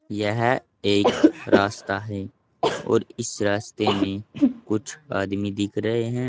यह एक रास्ता है और इस रास्ते में कुछ आदमी दिख रहे हैं।